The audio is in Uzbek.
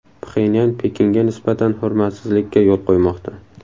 Pxenyan Pekinga nisbatan hurmatsizlikka yo‘l qo‘ymoqda.